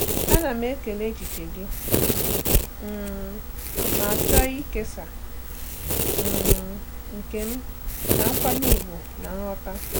Ana m ekele echiche gị um ma chọọ ịkesa um nke m na nkwanye ùgwù na nghọta.